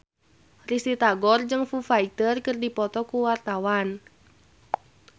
Risty Tagor jeung Foo Fighter keur dipoto ku wartawan